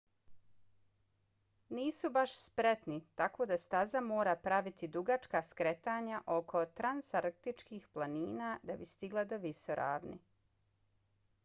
nisu baš spretni tako da staza mora praviti dugačka skretanja oko transantarktičkih planina da bi stigla do visoravni